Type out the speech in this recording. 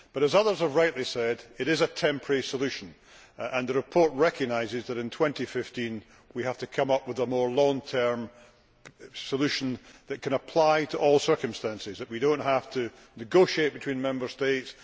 But as others have rightly said, it is a temporary solution and the report recognises that in 2015 we have to come up with a more long term solution that can apply to all circumstances, so that we do not have to negotiate between Member States